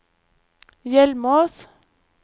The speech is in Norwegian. Hjelmås